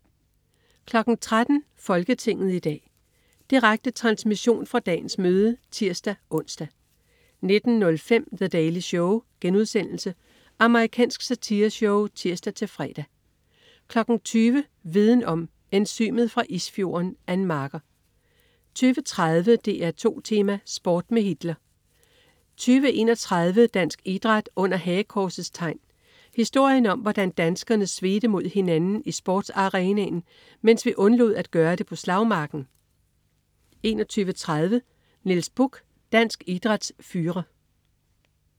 13.00 Folketinget i dag. Direkte transmission fra dagens møde (tirs-ons) 19.05 The Daily Show.* Amerikansk satireshow (tirs-fre) 20.00 Viden Om: Enzymet fra isfjorden. Ann Marker 20.30 DR2 Tema: Sport med Hitler 20.31 Dansk Idræt under Hagekorsets Tegn. Historien om, hvordan danskerne svedte mod hinanden i sportsarenaen, mens vi undlod at gøre det på slagmarken 21.30 Niels Bukh, dansk idræts führer